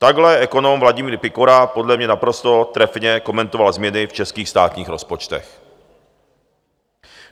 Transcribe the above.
Takhle ekonom Vladimír Pikora podle mě naprosto trefně komentoval změny v českých státních rozpočtech.